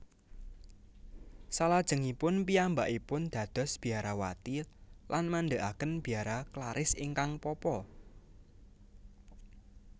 Salajengipun piyambakipun dados biarawati lan madegaken Biara Klaris ingkang Papa